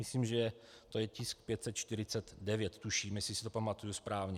Myslím, že to je tisk 549, tuším, jestli si to pamatuji správně.